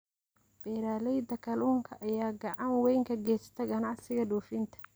Beeralayda kalluunka ayaa gacan weyn ka geysta ganacsiga dhoofinta.